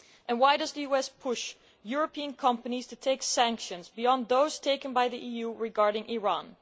Why does the US push European companies to take sanctions beyond those taken by the EU regarding Iran?